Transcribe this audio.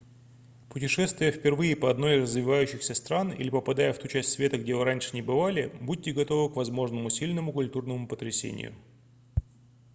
путешествуя впервые по одной из развивающихся стран или попадая в ту часть света где вы раньше не бывали будьте готовы в возможному сильному культурному потрясению